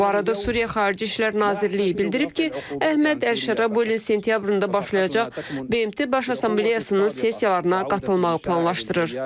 Bu arada Suriya Xarici İşlər Nazirliyi bildirib ki, Əhməd Əl-Şarra bu ilin sentyabrında başlayacaq BMT Baş Assambleyasının sessiyalarına qatılmağı planlaşdırır.